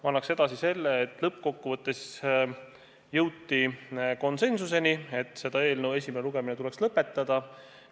Ma annan edasi selle, et lõppkokkuvõttes jõuti konsensuseni, et selle eelnõu esimene lugemine tuleks lõpetada.